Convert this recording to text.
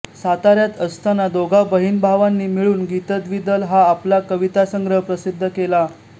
साताऱ्यात असताना दोघा बहीणभावांनी मिळून गीतद्वीदल हा आपला कवितासंग्रह प्रसिद्ध केला